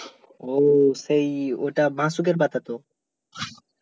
ও সেই ওটা বাসকের পাতা তো